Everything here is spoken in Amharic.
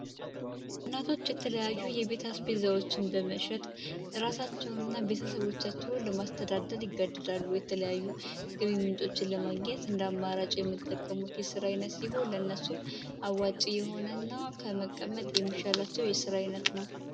እናቶች የተለያዩ የቤት አስቤዛዎችን በመሸጥ ልጆቻቸውን እና ቤተሰቦቻቸውን ለማስተዳደር ይገደዳሉ ሌላ የገቢ ምንጮችን ለማገኘት እንደ አማራጭ የሚጠቀሙት የስራ አይነት ሲሆን ለነሱም አዋጪ የሆነ እና ከመቀመጥ የሚሻላቸው የስራ አይነት ነው።